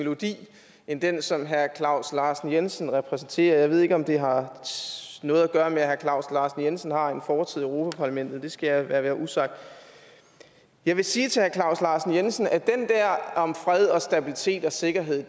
melodi end den som herre claus larsen jensen repræsenterede jeg ved ikke om det har noget at gøre med at herre claus larsen jensen har en fortid i europa parlamentet det skal jeg lade være usagt jeg vil sige til herre claus larsen jensen at den der om fred og stabilitet og sikkerhed